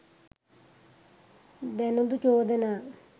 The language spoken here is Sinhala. දැනුදු චෝදනා